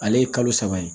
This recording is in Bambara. Ale ye kalo saba ye